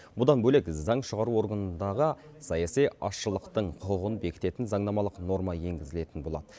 бұдан бөлек заң шығару органындағы саяси азшылықтың құқығын бекітетін заңнамалық норма енгізілетін болады